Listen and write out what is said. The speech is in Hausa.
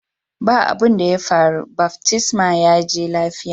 Ba' abun daya faru, baftisman ya je lafiya.